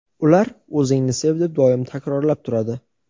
ular o‘zingni sev deb doim takrorlab turadi.